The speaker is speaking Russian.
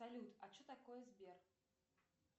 салют а что такое сбер